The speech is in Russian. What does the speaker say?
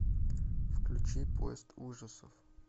включи поезд ужасов